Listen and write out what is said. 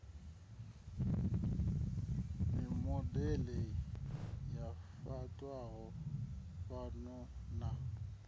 mimodele yo fhaṱwaho fhano na